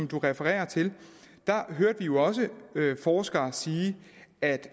refererer til hørte vi jo også forskere sige at